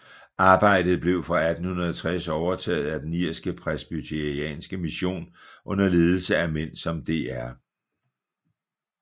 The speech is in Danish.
Arbejdet blev fra 1860 overtaget af den irske presbyterianske mission under ledelse af mænd som Dr